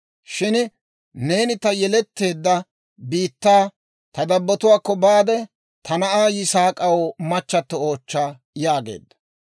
shin neeni ta yeletteedda biittaa, ta dabbotuwaakko baade, ta na'aa Yisaak'aw machchatto oochcha» yaageedda.